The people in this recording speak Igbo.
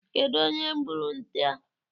Kedụ onye gburu nte a?